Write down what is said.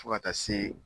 Fo ka taa se